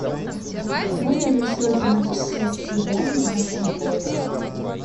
можно ли устроить романтическое свидание в нашем отеле